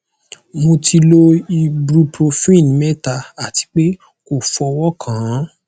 mo ti lo ibuprofen mẹta ati pe ko fọwọ kan an